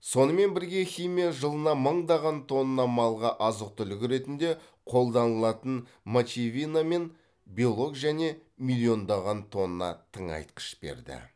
сонымен бірге химия жылына мыңдаған тонна малға азық түлік ретінде қолданылатын мочевина мен белок және миллиондаған тонна тыңайтқыш берді